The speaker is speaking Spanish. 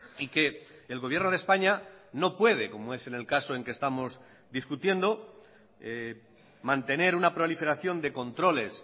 y que el gobierno de españa no puede como es en el caso en que estamos discutiendo mantener una proliferación de controles